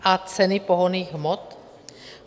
A ceny pohonných hmot?